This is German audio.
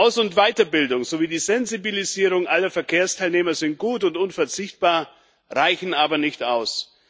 Aus und Weiterbildung sowie die Sensibilisierung aller Verkehrsteilnehmer sind gut und unverzichtbar, reichen aber nicht aus.